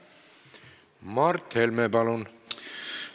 Mart Helme, palun!